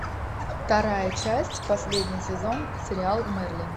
вторая часть последний сезон сериал мэрлин